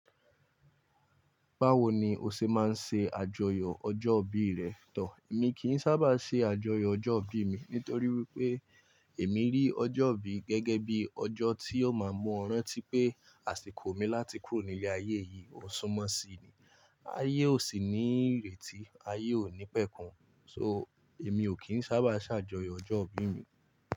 Báwo ni o ṣe máa ń ṣe àjọyọ̀ ọjọ́ ìbí rẹ to? Èmi kì í sábà ṣe àjọyọ̀ ọjọ́ ìbí mi nítorí wípé èmi rí ọjọ́ ìbí gẹ́gẹ́ bí ọjọ́ tí ó máa mú ọrán tí pé àsìkò mi láti kúrò ní ilé ayé yìí ò súnmọ́ sí i. Ayé ò sì ní ìrètí, ayé ò ní pẹ́ kun. So, èmi ò kí ń sábà ṣàjọyọ̀ ọjọ́ ìbí mi.